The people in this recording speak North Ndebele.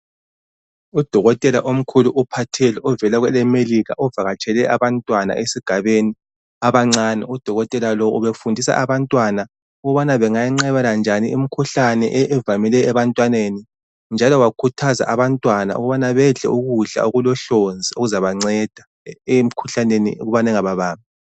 Udokotela omkhulu uphathele ovela kwelemelikha ovakatshele abantwana esigabeni abancane Udokotela lowu ubefundisa abantwana ukubana bengayenqabelanjani imikhuhlane evamileyo ebantwaneni njalo wakhuthaza abantwana ukubana bedle ukudla okulohlonzi okuzabanceda emikhuhlaneni ukubana ingababambi.